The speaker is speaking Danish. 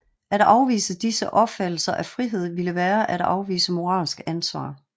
At afvise disse opfattelser af frihed ville være at afvise moralsk ansvar